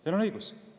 Teil on õigus!